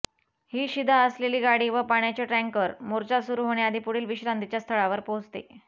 ही शिधा असलेली गाडी व पाण्याचे टँकर मोर्चा सुरू होण्याआधी पुढील विश्रांतीच्या स्थळावर पोहचते